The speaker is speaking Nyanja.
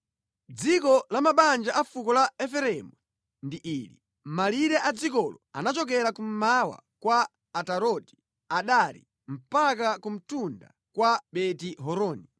Dziko la mabanja a fuko la Efereimu ndi ili: Malire a dzikolo anachokera kummawa kwa Ataroti Adari mpaka ku mtunda kwa Beti-Horoni.